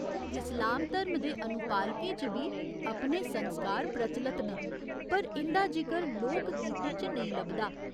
इस्लाम धर्म दे अनुपालकें च बी अपने संस्कार प्रचलत न, पर इं'दा जिकर लोकगीतें च नेईं लभदा।